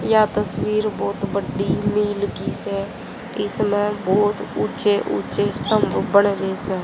यह तस्वीर बहुत बड्डी मिल की से इसमें बहुत ऊचे ऊचे स्तंभ बने है।